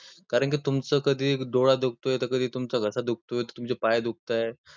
कारण की तुमचं कधी डोळा दुखतोय, कधी तुमचा घस्सा दुखतोय, कधी तुमचं पाय दुखतंय.